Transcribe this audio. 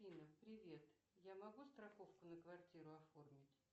афина привет я могу страховку на квартиру оформить